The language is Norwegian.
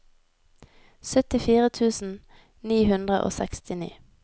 syttifire tusen ni hundre og sekstini